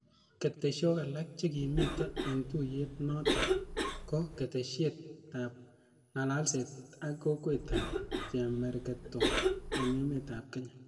Ketesyok alak chekimite eng' tuiyet nootok ko ketesyet ap ng'alalset ak kokwet ap chemegertoi eng' emet ap kenya.